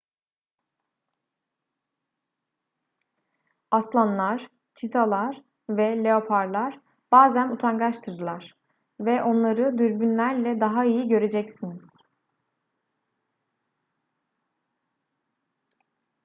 aslanlar çitalar ve leoparlar bazen utangaçtırlar ve onları dürbünlerle daha iyi göreceksiniz